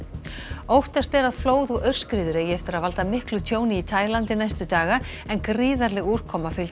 óttast er að flóð og aurskriður eigi eftir að valda miklu tjóni í Taílandi næstu daga en gríðarleg úrkoma fylgdi